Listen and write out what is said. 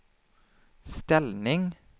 ställning